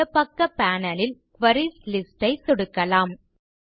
இடப்பக்க பேனல் ல் queries list ஐ சொடுக்கலாம்